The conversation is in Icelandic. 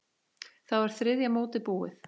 Þá er þriðja mótið búið.